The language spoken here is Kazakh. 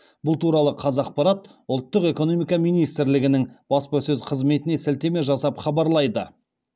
бұл туралы қазақпарат ұлтық экономика министрлігінің баспасөз қызметіне сілтеме жасап хабарлайды